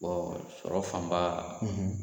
sɔrɔ fanba